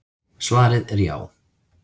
Svarið er já.